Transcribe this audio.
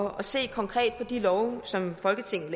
at se konkret på hvordan de love som folketinget